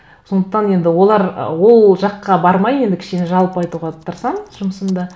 сондықтан енді ы ол жаққа бармай енді кішкене жалпы айтуға тырысамын жұмысымды